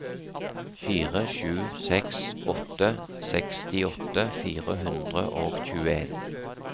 fire sju seks åtte sekstiåtte fire hundre og tjueen